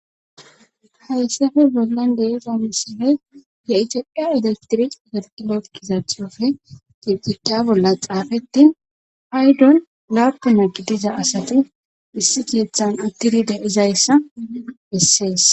Hayssape bollan deezamisine ye7icaphiya elestiric zargila gizathofe gibjiqaa bolla xaafeti haydon laapuna gi diza asati issi kiethan uttidide izayssa essees